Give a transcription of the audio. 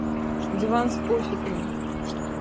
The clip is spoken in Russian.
диван с пуфиками